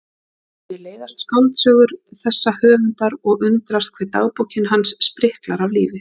Mér leiðast skáldsögur þessa höfundar og undrast hve dagbókin hans spriklar af lífi.